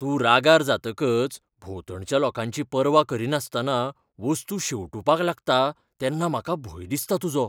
तूं रागार जातकच भोंवतणच्या लोकांची पर्वा करिनासतना वस्तू शेंवटूपाक लागता तेन्ना म्हाका भंय दिसता तुजो.